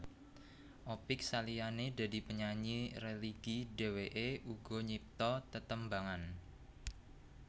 Opick saliyané dadi penyanyi religi dheweké uga nyipta tetembangan